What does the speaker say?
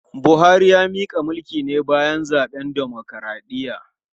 Buhari ya mika mulki ne bayan zaben dimokradiyya.